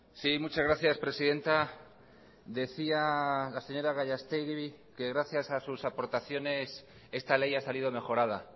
sí muchas gracias presidenta decía la señora gallastegui que gracias a sus aportaciones esta ley ha salido mejorada